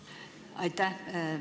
Aitäh!